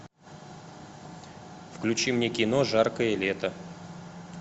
включи мне кино жаркое лето